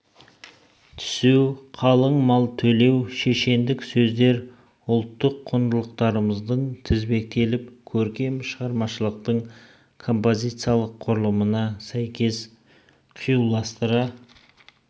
түсу қалың мал төлеу шешендік сөздер ұлттық құндылықтарымыздың тізбектеліп көркем шығармашылықтың композициялық құрылымына сәйкес қиюластыра